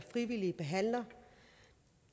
frivillige behandlere